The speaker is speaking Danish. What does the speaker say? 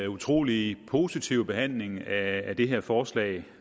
utrolig positiv behandling af det her forslag